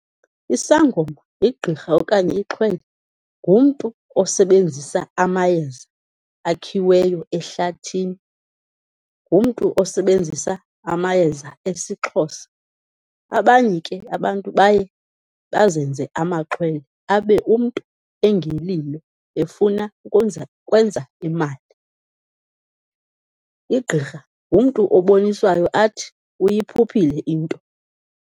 Isangoma, igqirha okanye ixhwele ngumntu osebenzisa amayeza akhiweyo ehlathini. Ngumntu osebenzisa amayeza esiXhosa. Abanye ke abantu baye bazenze amaxhwele, abe umntu engelilo efuna ikwenza, ukwenza imali. Igqirha ngumntu oboniswayo athi uyiphuphile into.